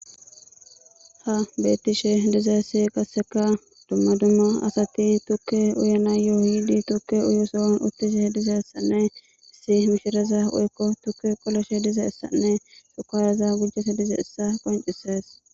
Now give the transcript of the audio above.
ha bettishe diza esi qasseka dumma dumma asati tukke uyena yooyidi tukke uyusowan uttishe dizaessanne isi mishiraza woykko tukke qoloshe diza essanne shukayaza gujese dize essa qoncises